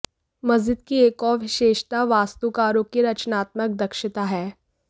मस्जिद की एक और विशेषता वास्तुकारों की रचनात्मक दक्षता है